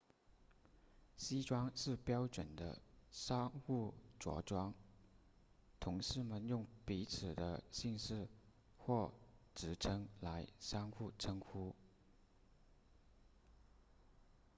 西装是标准的商务着装同事们用彼此的姓氏或职称来互相称呼